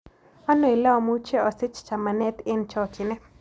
Ano ole amuche asich chamanet eng' chogchinet